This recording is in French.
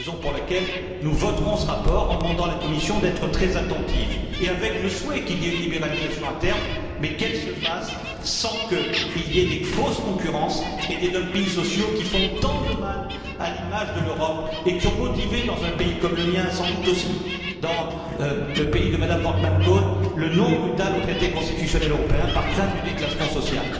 Et c'est la raison pour laquelle nous voterons ce rapport, en demandant à la Commission d'être attentive et en exprimant le souhait qu'il y ait une libéralisation à terme, mais qu'elle se fasse sans qu'il y ait des fausses concurrences et des dumpings sociaux qui font tant de mal à l'image de l'Europe et qui ont motivé, dans un pays comme le mien et sans doute aussi dans le pays de M me Wortmann Kool, le non brutal au traité constitutionnel européen par crainte du déclassement social.